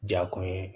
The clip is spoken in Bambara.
Ja kun ye